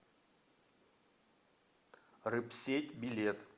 рыбсеть билет